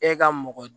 E ka mɔgɔ